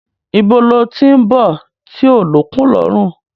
Ibo lo tí ń bọ̀ tí ó lókun lọrun